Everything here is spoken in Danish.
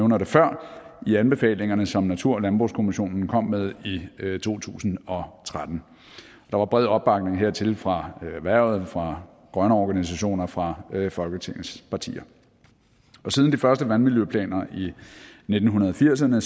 det før i anbefalingerne som natur og landbrugskommissionen kom med i to tusind og tretten der var bred opbakning hertil fra erhvervet fra grønne organisationer fra folketingets partier og siden de første vandmiljøplaner i nitten firserne